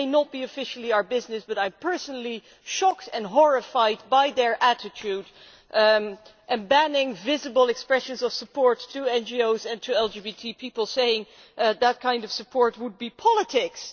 It may not officially be our business, but I am personally shocked and horrified by its attitude in banning visible expressions of support to NGOs and LGBT people, saying that kind of support would be politics'.